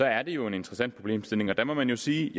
er det jo en interessant problemstilling og der må man jo sige